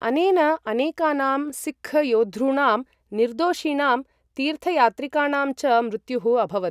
अनेन अनेकानां सिक्ख् योद्धॄणां, निर्दोषिणां तीर्थयात्रिकाणां च मृत्युः अभवत्।